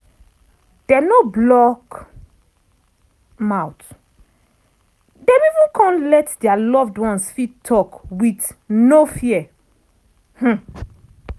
dem no block mouth dem even come let dia loved ones fit talk wit no fear.